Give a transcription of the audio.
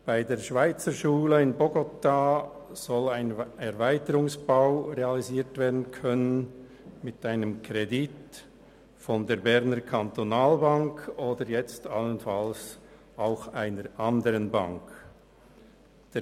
Bei der Schweizerschule in Bogotá soll mit einem Kredit der BEKB oder jetzt allenfalls auch einer anderen Bank ein Erweiterungsbau realisiert werden können.